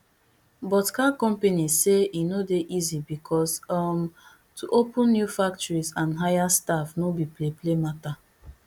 but car companies say e no dey easy becos um to open new factories and hire staff no be play play matter